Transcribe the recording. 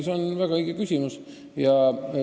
See on väga õige küsimus.